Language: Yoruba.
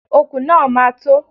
Okùn náà ma tó.